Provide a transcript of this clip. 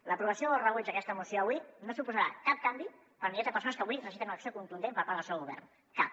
l’aprovació o rebuig d’aquesta moció avui no suposarà cap canvi per a milers de persones que avui necessiten una acció contundent per part del seu govern cap